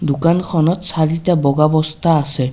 দোকানখনত চাৰিটা বগা বস্তা আছে।